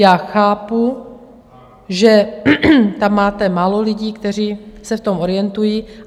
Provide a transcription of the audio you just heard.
Já chápu, že tam máte málo lidí, kteří se v tom orientují.